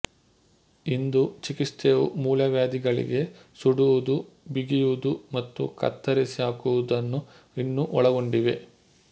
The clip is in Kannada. ಇಂದು ಚಿಕಿತ್ಸೆಯು ಮೂಲವ್ಯಾಧಿಗಳಿಗೆ ಸುಡುವುದು ಬಿಗಿಯುವುದು ಮತ್ತು ಕತ್ತರಿಸಿಹಾಕುವುದನ್ನು ಇನ್ನೂ ಒಳಗೊಂಡಿವೆ